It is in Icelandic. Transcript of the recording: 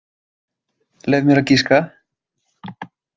Leyf mér að giska.